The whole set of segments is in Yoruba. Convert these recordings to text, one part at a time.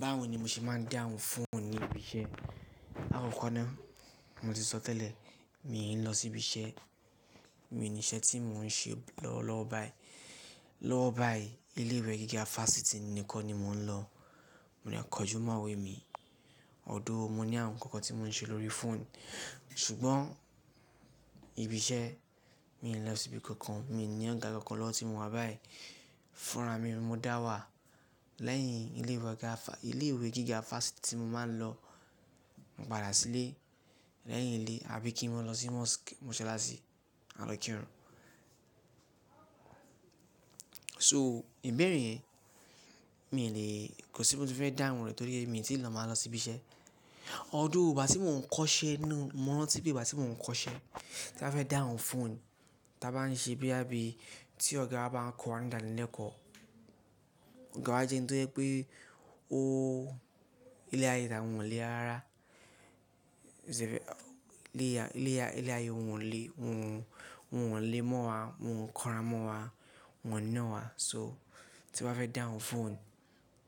Báwo ni mo ṣe máa ń dáhùn fóònù ní ibi iṣẹ́? Áàkọ́kọ́ náà mo ti sọ tẹ́lẹ̀, mii n lọ sí ibi iṣẹ́. Mi ò ní iṣẹ́ tí mò ń ṣe lọ lọ́wọ́ báyìí. Lọ́wọ́ báyìí ilé ìwé gíga fáṣítì nìkan ni mò ń lọ. Mo de nkójú mọ́ ìwé mi. Ọ̀dọ́ọ̀, mo ní àwon kankan tí mò ń ṣe lórí fóònù. Ṣùgbọ́n ibi iṣẹ́, mi ò ní lọ síbi kankan. Mi ò ní ọ̀gá kankan lọ́wọ́ tí mo wá báyìí. Fúnra mi mo dá wà lẹ́yìn ilé ìwé gíga fáṣítì tí mo máa ń lọ. Mo padà sílé. Lẹ́yìn eleyi, àbí kí n máa lọ sí Mosque, mo ṣalá sí, à lọ kírun. So, ìbéèrè yẹ̀ mi ò le, kò sí ohun tí fẹ́ dáhùn rẹ̀ torí pé mi tí ì lọ máa lọ sí ibi iṣẹ́. Ọ̀dọ́ọ̀, ìgbà tí mò ń kọ́ṣẹ́ inú-- mò ń rántí pé ìgbà tí mò ń kọ́ṣẹ́ tí mba fẹ́ dáhùn fóònù, ta bá ń ṣe bíá bí tí ọ̀gá bá ń kọ̀wa nídà nílẹ̀ ko. Ọ̀gá wa jẹ́ ẹni tó jẹ́ pé ó ilé ayé tá won ọ́ lé ara. iLé ayé wọ́n wọ́n lé mọ́ wa, wọ́n kọra mọ́ wa, wọ́n nína wa. So, tí wọ́n bá fẹ́ dáhùn fóònù,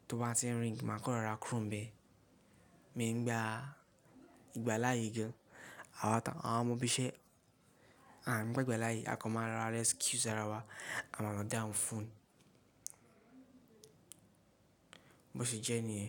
tó bá tí ń ring, máa kọ́rọrà kúroni bẹ́ẹ̀. Mi ń gba ìgbà láàyè gán. Àwọn ọmọ ibi iṣẹ́, à ń gbé ìgbà láàyè, a kọ máa ra rescue sára wa. A máa mọ dáhùn fóònù. Bo ṣe jẹ́ ní è?